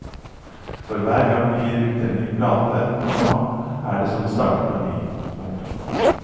For hver gang vi gir ut en ny plate, komma er det som å starte på ny. punktum